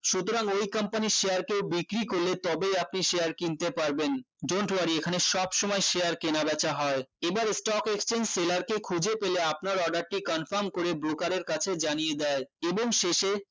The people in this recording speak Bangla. সুতরাং ওই company এর share কে বিক্রি করলে তবেই আপনি share কিনতে পারবেন dont worry এখানে সবসময় share কেনা বেচা হয় এবার stock exchange seller কে খুঁজে পেলে আপনার order টি confirm করে broker এর কাছে জানিয়ে দেয় এবং শেষে